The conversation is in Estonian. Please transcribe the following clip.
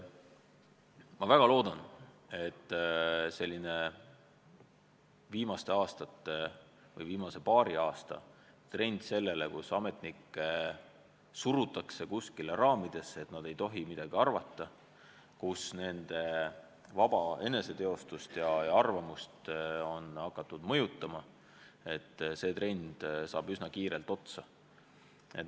Ma väga loodan, et selline viimaste aastate, viimase paari aasta trend suruda ametnikke raamidesse, nii et nad ei tohi midagi arvata, nii et nende vaba eneseteostust on hakatud mõjutama, et see trend saab üsna kiirelt otsa.